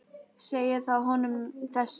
Segið þá honum þessum.